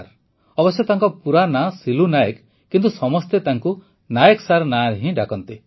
ଅବଶ୍ୟ ତାଙ୍କ ପୁରା ନାଁ ସିଲୁ ନାଏକ କିନ୍ତୁ ସମସ୍ତେ ତାଙ୍କୁ ନାଏକ ସାର୍ ନାଁରେ ହିଁ ଡାକନ୍ତି